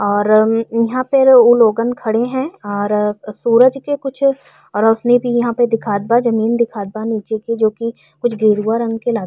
और अम् ईहाँ पे उ लोगन खड़े हैं और सूरज के कुछ रोशनी भी यहाँ पर दिखात बा जमीन दिखात बा नीचे को जोकि कुछ गेरुवा रंग के लागत --